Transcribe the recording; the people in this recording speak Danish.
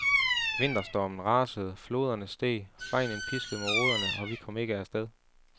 Vinterstormen rasede, floderne steg, regnen piskede mod ruderne og vi kom ikke af sted.